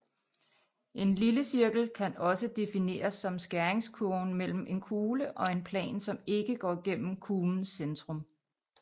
En lillecirkel kan også defineres som skæringskurven mellem en kugle og en plan som ikke går gennem kuglens centrum